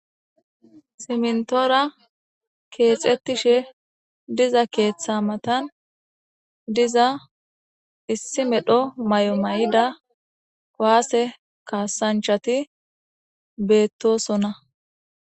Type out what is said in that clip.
simntoora keexettishe diza keeththa matan diza issi medho may7o may7ida waase kaasanchati beettosona